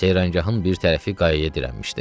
Seyranqahın bir tərəfi qayaya dirənmişdi.